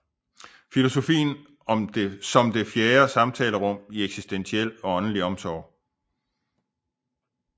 Filosofien som det fjerde samtalerum i eksistentiel og åndelig omsorg